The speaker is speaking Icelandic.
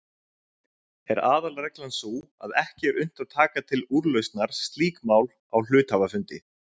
Er aðalreglan sú að ekki er unnt að taka til úrlausnar slík mál á hluthafafundi.